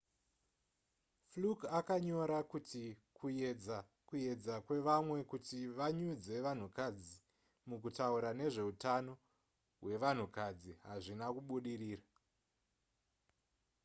fluke akanyora kuti kuyedza kuedza kwevamwe kuti vanyudze vanhukadzi mukutaura nezvehutano hwevanhukadzi hazvina kubudirira